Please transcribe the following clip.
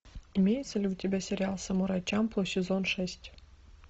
имеется ли у тебя сериал самурай чамплу сезон шесть